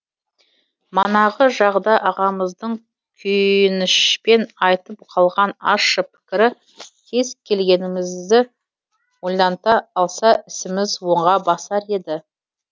манағы жағда ағамыздың күйінішпен айтып қалған ащы пікірі кез келгенімізді ойланта алса ісіміз оңға басар еді